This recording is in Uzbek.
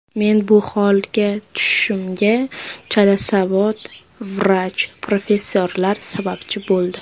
Meni bu holga tushishimga chalasavod vrach professorlar sababchi bo‘ldi.